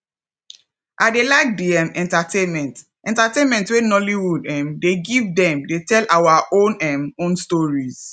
i dey like di um entertainment entertainment wey nollywood um dey give dem dey tell our um own stories